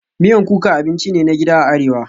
Miyan kuka abinci ne na gida a Arewa